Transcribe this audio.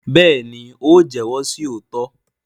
béèni o jẹwọ sí òtítọ.